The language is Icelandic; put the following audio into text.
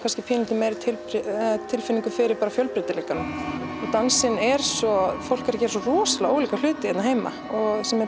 tilfinningu fyrir fjölbreytileikanum og dansinn er svo fólk er að gera svo rosalega ólíka hluti hér heima sem er